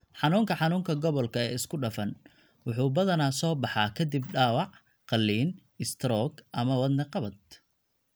Xanuunka xanuunka gobolka ee isku dhafan (CRPS) wuxuu badanaa soo baxaa ka dib dhaawac, qalliin, istaroog ama wadne qabad.